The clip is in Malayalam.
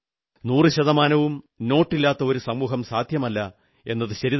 നൂറുശതമാനവും നോട്ടില്ലാത്ത ഒരു സമൂഹം സാധ്യമല്ലെന്നതു ശരിതന്നെ